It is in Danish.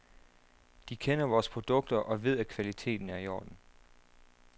De kender vores produkter og ved, at kvaliteten er i orden.